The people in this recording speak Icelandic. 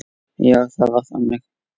Já, það var þannig.